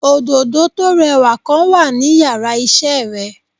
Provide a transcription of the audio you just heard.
Òdòdó tó rẹwà kan wà ní yàrá isé re